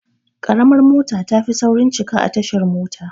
Ƙaramar mota tafi saurin cika a tashar mota